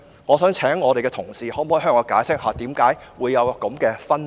我想請同事向我解釋為何會有這分別。